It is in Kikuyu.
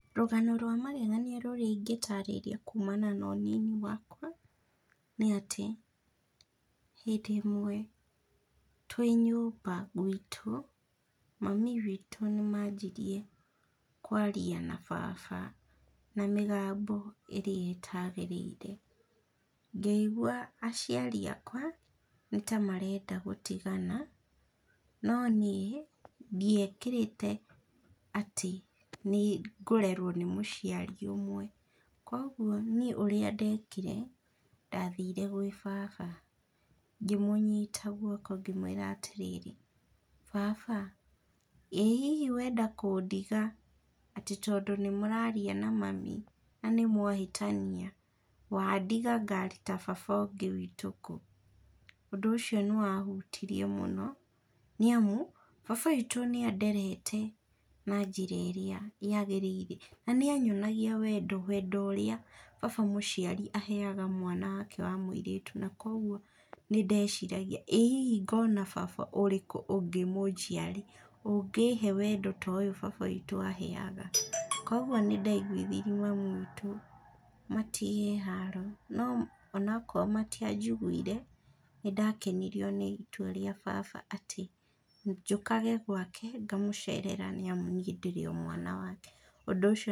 Rũgano rwa magegania rĩrĩa ingĩ tarĩria kumana na ũnini wakwa nĩ atĩ, hĩndĩ ĩmwe twĩ nyũmba gwitũ mami witũ nĩ manjirie kwaria na baba na mĩgambo ĩrĩa ĩtagĩrĩirr, ngĩigua aciari akwa nĩ ta marenda gũtigana no niĩ ndiĩkĩrĩte atĩ nĩ ngũrerwo nĩ mũciari ũmwe, kwoguo niĩ ũrĩa ndekire ndathire gwĩ baba ngĩmũnyita guoko ngĩmwĩra atĩrĩrĩ baba ĩhihi wenda kũndiga atĩ tondũ nĩ mũraria na mami na nĩ mwahĩtania, wandiga ngaruta baba ũngĩ kũ? Ũndũ ũcio nĩ wahitirie mũno nĩ amu baba witũ nĩ anderete na njĩra ĩrĩa yagĩrĩire na nĩa nyonagia wendo, wendo ũrĩa baba mũciari aheaga mwana wake wa mũirĩtu, na kwoguo nĩndeciragia, ĩĩ hihi ngona baba ũrĩkũ ũngĩ mũnjiari ũngĩhe wendo ta ũyũ baba witũ aheaga kwoguo nĩ ndaiguithirie mamu witũ, matige haro no onakorwo matianjiguire nĩ ndakenirio nĩ itua rĩa baba atĩ njũkage gwake, ngamũcerera nĩ amu niĩ ndĩrĩ o mwana wake ũndũ ũcio